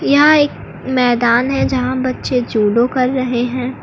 यहां एक मैदान है यहां बच्चे जूडो कर रहे हैं।